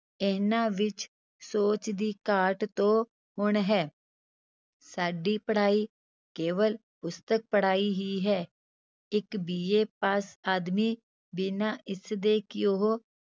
ਇਹਨਾਂ ਵਿੱਚ ਸੋਚ ਦੀ ਘਾਟ ਤੋਂ ਹੁਣ ਹੈ ਸਾਡੀ ਪੜ੍ਹਾਈ ਕੇਵਲ ਪੁਸਤਕ ਪੜ੍ਹਾਈ ਹੀ ਹੈ, ਇੱਕ BA ਪਾਸ ਆਦਮੀ ਬਿਨਾਂ ਇਸਦੇ ਕਿ ਉਹ